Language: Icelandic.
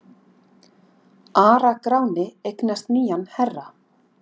ARA-GRÁNI EIGNAST NÝJAN HERRA